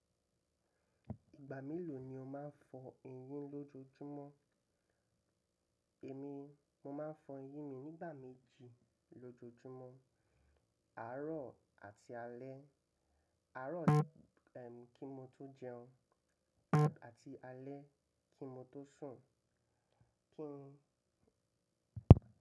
Ìgbà mélòó ni o máa ń fọ eyín lójojúmọ́? Èmi, mo máa ń fọ eyín mi nígbà méjì lójojúmọ́, àárọ̀ àti alẹ́. Àárọ̀ kí n tó jẹun àti alẹ́ kí n tó sùn. Kí--